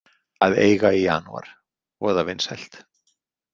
Að eiga í janúar, voða vinsælt.